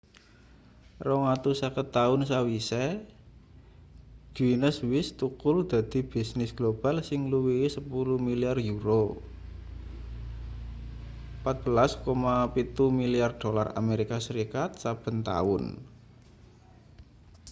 250 taun sawise guinness wis thukul dadi bisnis global sing ngluwihi 10 milyar euro 14,7 milyar dolar amerika serikat saben taun